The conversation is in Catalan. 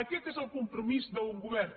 aquest és el compromís d’un govern